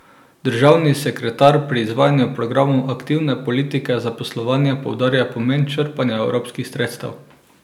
Državni sekretar pri izvajanju programov aktivne politike zaposlovanja poudarja pomen črpanja evropskih sredstev.